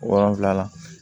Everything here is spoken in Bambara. Wolonfila